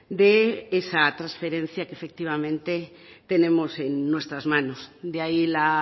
de esa trasferencia que efectivamente tenemos en nuestras manos de ahí la